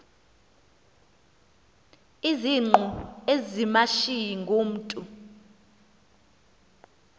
izingqu ezimashiyi ngumntu